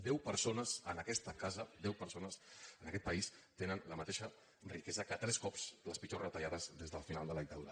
deu persones en aquesta casa deu persones en aquest país tenen la mateixa riquesa que tres cops les pitjors retallades des del final de la dictadura